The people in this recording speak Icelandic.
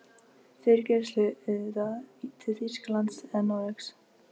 Fyrir greiðslu auðvitað, til Þýskalands eða Noregs?